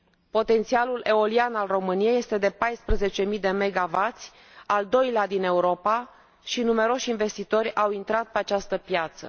Potențialul eolian al României este de 14 mii de megawați, al doilea din Europa, și numeroși investitori au intrat pe această piață.